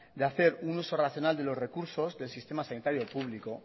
de hacer un uso racional de los recursos del sistema sanitario público